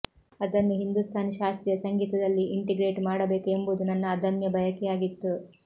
ಅದನ್ನು ಹಿಂದೂಸ್ತಾನಿ ಶಾಸ್ತ್ರೀಯ ಸಂಗೀತದಲ್ಲಿ ಇಂಟಿಗ್ರೇಟ್ ಮಾಡಬೇಕು ಎಂಬುದು ನನ್ನ ಅದಮ್ಯ ಬಯಕೆಯಾಗಿತ್ತು